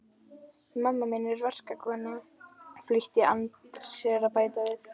Mamma mín er verkakona, flýtti Andri sér að bæta við.